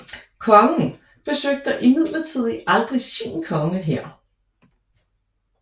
Kongen besøgte imidlertid aldrig sin konge her